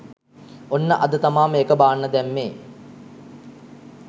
ඔන්න අද තමා මේක බාන්න දැම්මේ